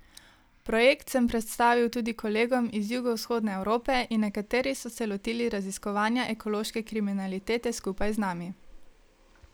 Projekt sem predstavil tudi kolegom iz jugovzhodne Evrope in nekateri so se lotili raziskovanja ekološke kriminalitete skupaj z nami.